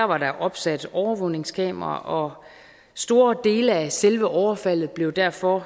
var der opsat overvågningskameraer store dele af selve overfaldet blev derfor